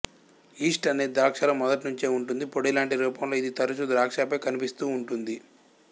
east అనేది ద్రాక్షలో మొదటినుంచే ఉంటుంది పొడిలాంటి రూపంలో ఇది తరచూ ద్రాక్షపై కనిపిస్తుంటుంది